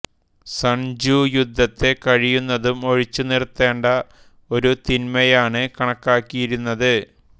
sun Tzu യുദ്ധത്തെ കഴിയുന്നതും ഒഴിച്ചുനിർത്തേണ്ട ഒരു തിന്മയായാണ് കണക്കാക്കിയിരുന്നത്